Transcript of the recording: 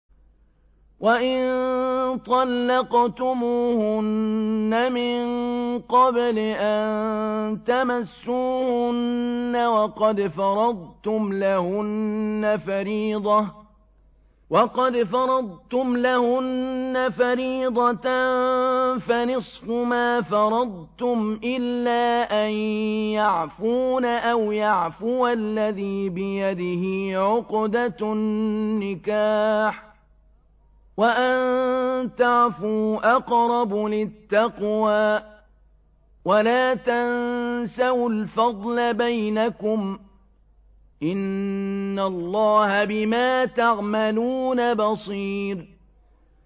وَإِن طَلَّقْتُمُوهُنَّ مِن قَبْلِ أَن تَمَسُّوهُنَّ وَقَدْ فَرَضْتُمْ لَهُنَّ فَرِيضَةً فَنِصْفُ مَا فَرَضْتُمْ إِلَّا أَن يَعْفُونَ أَوْ يَعْفُوَ الَّذِي بِيَدِهِ عُقْدَةُ النِّكَاحِ ۚ وَأَن تَعْفُوا أَقْرَبُ لِلتَّقْوَىٰ ۚ وَلَا تَنسَوُا الْفَضْلَ بَيْنَكُمْ ۚ إِنَّ اللَّهَ بِمَا تَعْمَلُونَ بَصِيرٌ